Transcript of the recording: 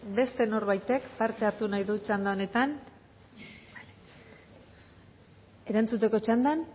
beste norbaitek parte hartu nahi txanda honetan erantzuteko txanda